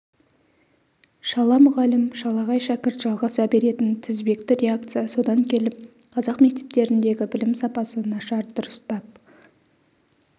шала мұғалім шалағай шәкірт жалғаса беретін тізбекті реакция содан келіп қазақ мектептеріндегі білім сапасы нашар дұрыстап